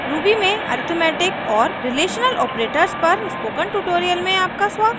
ruby में arithmetic और relational operators पर स्पोकन ट्यूटोरियल में आपका स्वागत है